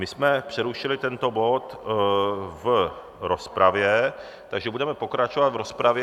My jsme přerušili tento bod v rozpravě, takže budeme pokračovat v rozpravě.